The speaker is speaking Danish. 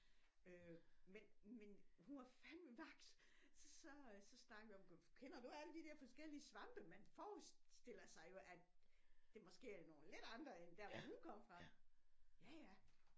Øh en men hun var fandme vaks så så snakkede vi om kender du alle de der forskellige svampe man forestiller sig jo at det måske er nogle lidt andre end der hvor hun kom fra ja ja